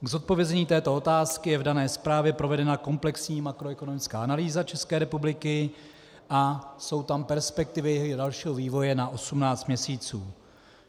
K zodpovězení této otázky je v dané zprávě provedena komplexní makroekonomická analýza České republiky a jsou tam perspektivy dalšího vývoje na 18 měsíců.